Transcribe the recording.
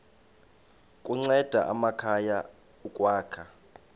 kunceda amakhaya ukwakha